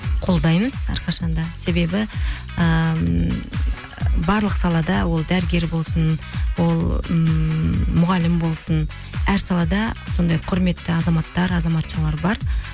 қолдаймыз әрқашан да себебі ііі барлық салада ол дәрігер болсын ол ммм мұғалім болсын әр салада сондай құрметті азаматтар азаматшалар бар